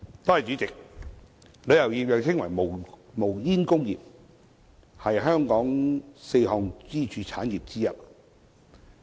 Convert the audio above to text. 主席，旅遊業又稱為"無煙工業"，是香港四大支柱產業之一。